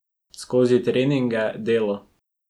Skozi treninge, delo...